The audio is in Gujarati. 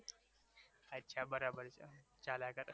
અચ્છા બરાબર છે ચાલ્યા કરે